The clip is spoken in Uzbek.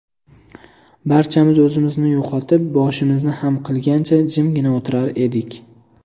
Barchamiz o‘zimizni yo‘qotib, boshimizni xam qilgancha, jimgina o‘tirar edik.